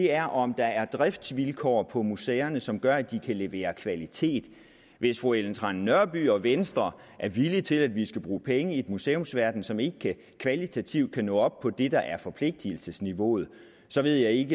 er om der er driftsvilkår på museerne som gør at de kan levere kvalitet hvis fru ellen trane nørby og venstre er villige til at vi skal bruge penge i en museumsverden som ikke kvalitativt kan nå op på det der er forpligtigelsesniveauet så ved jeg ikke